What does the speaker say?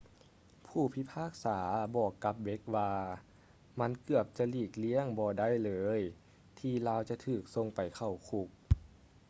ຜູ້ພິພາກສາໄດ້ບອກກັບ blake ວ່າ ມັນ ເກືອບຈະຫລີກລ້ຽງບໍ່ໄດ້ເລີຍ ທີ່ລາວຈະຖືກສົ່ງໄປເຂົ້າຄຸກ